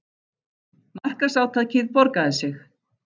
Markaðsátakið borgaði sig